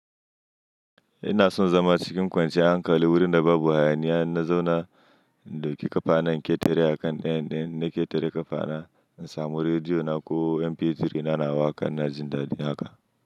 Ina son zama cikin kwanciyar hankali wurin da babu hayaniya, na zauna da ƙi ƙafa na a ketere a kan ɗayan na, na ketere ƙafa na, na samu rediyo na ko MP3 na, na waƙa na jin daɗi haka.